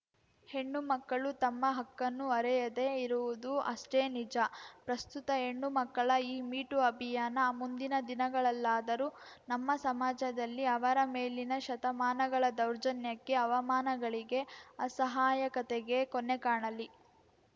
ಹೆಣ್ಣುಮಕ್ಕಳೂ ತಮ್ಮ ಹಕ್ಕನ್ನು ಅರೆಯದೆ ಇರುವುದೂ ಅಷ್ಟೇ ನಿಜ ಪ್ರಸ್ತುತ ಹೆಣ್ಣುಮಕ್ಕಳ ಈ ಮೀ ಟೂ ಅಭಿಯಾನ ಮುಂದಿನ ದಿನಗಳಲ್ಲಾದರೂ ನಮ್ಮ ಸಮಾಜದಲ್ಲಿ ಅವರ ಮೇಲಿನ ಶತಮಾನಗಳ ದೌರ್ಜನ್ಯಕ್ಕೆ ಅವಮಾನಗಳಿಗೆ ಅಸಹಾಯಕತೆಗೆ ಕೊನೆ ಕಾಣಲಿ